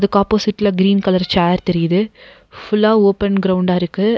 இதுக்கு ஆப்போசிட்ல green colour chair தெரியிது ஃபுல்லா ஓபன் கிரவுண்டா இருக்கு.